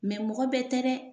Mɛ mɔgɔ bɛɛ tɛ dɛ